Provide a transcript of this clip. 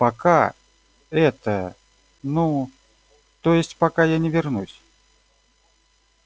пока это ну то есть пока я не вернусь